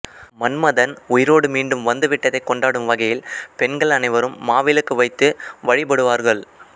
மன்மதன் உயிரோடு மீண்டும் வந்துவிட்டதைக் கொண்டாடும் வகையில் பெண்கள் அனைவரும் மாவிளக்கு வைத்து வழிபடுவார்கள்